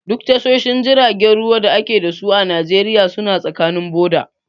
Duk tashoshin jiragen ruwan da a ke dasu a Najeriya suna tsakanin boda.